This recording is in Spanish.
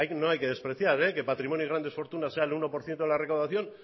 no hay que despreciar que patrimonio de grandes fortunas sea el uno por ciento de la recaudación